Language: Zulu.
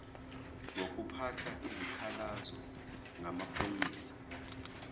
ngokuphatha izikhalazo ngamaphoyisa